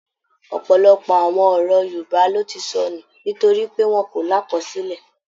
Ọ̀pọlọpọ̀ àwọn ọ̀rọ̀ Yorùbá ló ti sọnù nítorí pé wọ́n kò lákọsílẹ̀